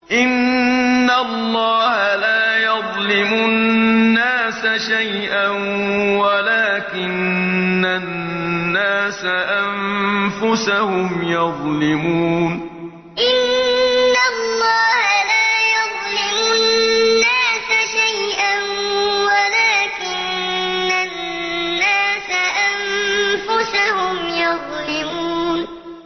إِنَّ اللَّهَ لَا يَظْلِمُ النَّاسَ شَيْئًا وَلَٰكِنَّ النَّاسَ أَنفُسَهُمْ يَظْلِمُونَ إِنَّ اللَّهَ لَا يَظْلِمُ النَّاسَ شَيْئًا وَلَٰكِنَّ النَّاسَ أَنفُسَهُمْ يَظْلِمُونَ